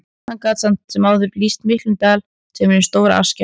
Hann gat samt sem áður lýst miklum dal, sem er hin stóra Askja.